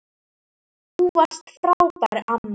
Þú varst svo frábær amma.